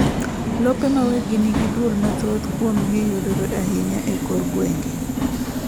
lope ma weggi nigi duol mathoth kuomgi yudore ainya ekor gwenge